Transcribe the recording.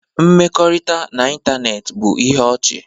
Mkpakọrịta n'ịntanetị bụ ihe ọchị